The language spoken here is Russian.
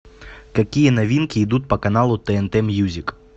какие новинки идут по каналу тнт мьюзик